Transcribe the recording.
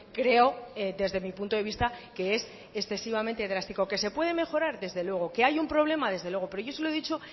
creo desde mi punto de vista que es excesivamente drástico que se puede mejorar desde luego que hay un problema desde luego pero yo se lo he dicho